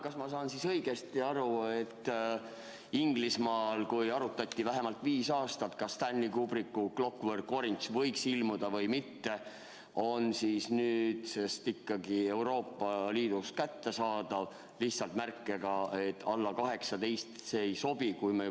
Kas ma saan õigesti aru, et kuigi Inglismaal arutati vähemalt viis aastat, kas Stanley Kubricku "A Clockwork Orange" võiks linastuda või mitte, on see nüüdsest Euroopa Liidus ikkagi kättesaadav, lihtsalt märkega, et alla 18-aastastele see ei sobi?